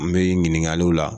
An bɛ ɲininkaliw la